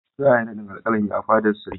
Za a yi naɗin Alƙalami a fadar Sarki.